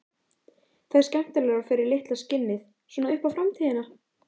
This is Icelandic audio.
Það er skemmtilegra fyrir litla skinnið, svona upp á framtíðina.